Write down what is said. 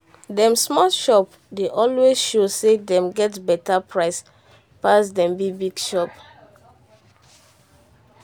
dem small shop dey always show say dem get beta price pass dem big big shop.